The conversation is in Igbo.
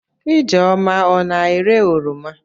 Ijeoma ọ na-ere oroma?